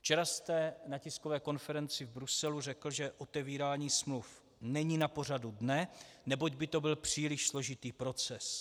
Včera jste na tiskové konferenci v Bruselu řekl, že otevírání smluv není na pořadu dne, neboť by to byl příliš složitý proces.